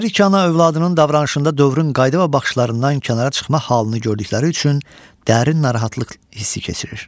Hər iki ana övladının davranışında dövrün qayda və baxışlarından kənara çıxma halını gördükləri üçün dərin narahatlıq hissi keçirir.